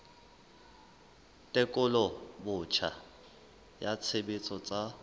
tekolo botjha ya tshebetso tsa